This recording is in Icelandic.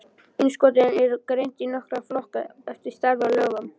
Innskotin eru greind í nokkra flokka eftir stærð og lögun.